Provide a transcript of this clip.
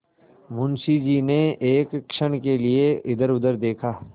मुंशी जी ने एक क्षण के लिए इधरउधर देखा